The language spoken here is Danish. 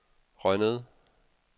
Rønnede